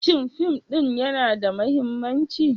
Shin fim ɗin yana da mahimmanci?